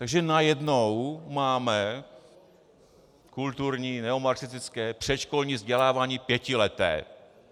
Takže najednou máme kulturní neomarxistické předškolní vzdělávání pětileté.